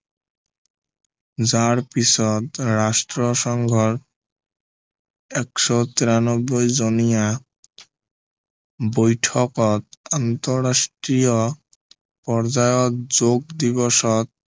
যাৰ পিছত ৰাষ্ট্ৰসংঘৰ এশ তিৰানব্বৈ জনীয়া বৈঠকত আন্তৰাষ্ট্ৰীয় পৰ্যায়ত যোগ দিৱসত